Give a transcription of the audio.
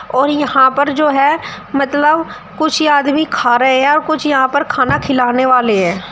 और यहाँ पर जो है मतलब कुछ आदमी खा रहे हैं और कुछ यहाँ पर खाना खिलाने वाले हैं।